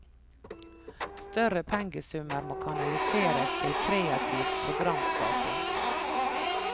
Større pengesummer må kanaliseres til kreativ programskaping.